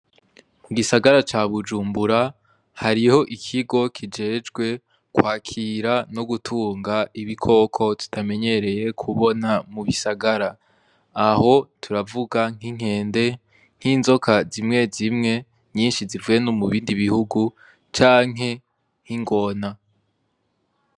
Mu gisagara ca bujumbura hariho ikigo kijejwe kwakira no gutunga ibikoko tutamenyereye kubona mu bisagara, aho turavuga nk'inkende, nk'inzoka zimwe zimwe nyinshi zivuye nomu bindi bihugu canke nkingona.